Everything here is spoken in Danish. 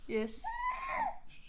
Yes